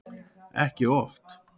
Ekki oft.